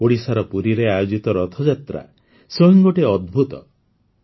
ଓଡ଼ିଶାର ପୁରୀରେ ଆୟୋଜିତ ରଥଯାତ୍ରା ସ୍ୱୟଂ ଏକ ଅଦ୍ଭୁତ ମହୋତ୍ସବ